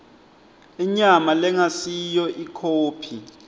inyama lengasiyo ikhophi